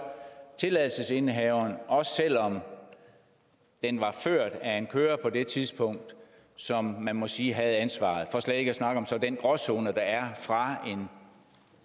tilladelsesindehaveren også selv om den var ført af en chauffør på det tidspunkt som man må sige havde ansvaret for slet ikke at snakke om den gråzone der er fra